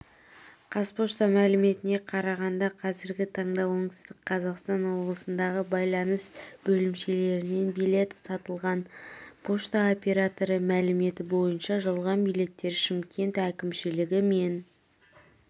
қазпошта мәліметіне қарағанда қазіргі таңда оңтүстік қазақстан облысындағы байланыс бөлімшелерінен билет сатылған пошта операторы мәліметі бойынша жалған билеттер шымкент әкімшілігі мен